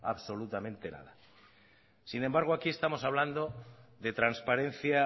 absolutamente nada sin embargo aquí estamos hablando de transparencia